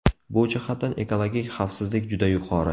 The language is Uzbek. Bu jihatdan ekologik xavfsizlik juda yuqori.